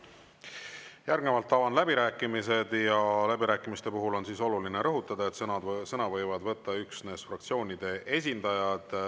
Järgnevalt avan läbirääkimised ja läbirääkimiste puhul on oluline rõhutada, et sõna võivad võtta üksnes fraktsioonide esindajad.